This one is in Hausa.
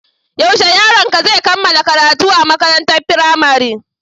Yaushe yaronka zai kammala karatu a makarantar firamare?